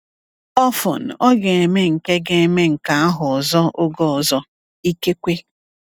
Ọfọn, ọ ga-eme nke ga-eme nke ahụ ọzọ oge ọzọ… ikekwe!